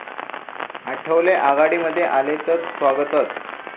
आठवले आघाडीमध्ये आले तर स्वागतच'